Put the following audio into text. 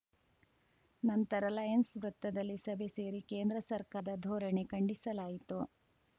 ನಂತರ ಲಯನ್ಸ್‌ ವೃತ್ತದಲ್ಲಿ ಸಭೆ ಸೇರಿ ಕೇಂದ್ರ ಸರ್ಕಾರದ ಧೋರಣೆ ಖಂಡಿಸಲಾಯಿತು